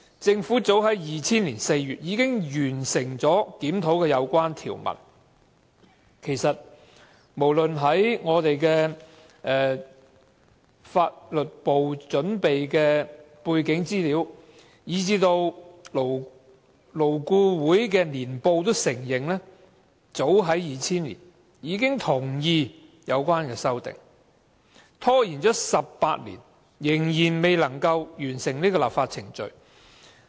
政府早於2000年4月已經完成檢討有關條文，此事已載於立法會秘書處法律事務部準備的背景資料簡介，而勞工顧問委員會亦在年報中承認，早於2000年已同意有關的修訂，但政府拖了18年，仍未能完成有關的立法程序。